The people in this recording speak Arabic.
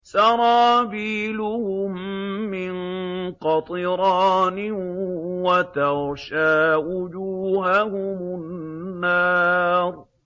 سَرَابِيلُهُم مِّن قَطِرَانٍ وَتَغْشَىٰ وُجُوهَهُمُ النَّارُ